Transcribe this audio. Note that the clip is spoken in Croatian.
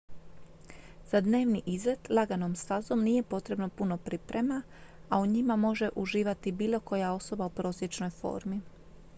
za dnevni izlet laganom stazom nije potrebno puno priprema a u njima može uživati bilo koja osoba u prosječnoj formi